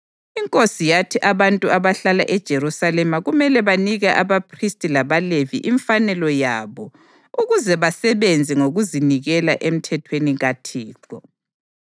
Inkosi yathi abantu abahlala eJerusalema kumele banike abaphristi labaLevi imfanelo yabo ukuze basebenze ngokuzinikela eMthethweni kaThixo.